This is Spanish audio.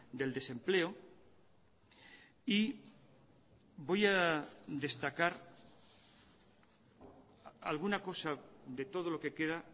del desempleo y voy a destacar alguna cosa de todo lo que queda